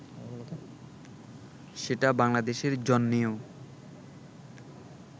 সেটা বাংলাদেশের জন্যও